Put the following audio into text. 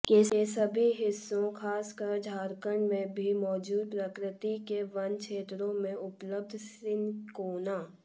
के सभी हिस्सों खासकर झारखंड में भी मौजूद प्रकृति के वन छेत्रों में उपलब्ध सिनकोना